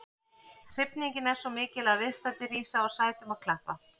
Hrifningin er svo mikil að viðstaddir rísa úr sætum og klappa.